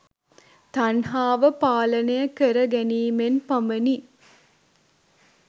තණ්හාව පාලනය කර ගැනීමෙන් පමණි.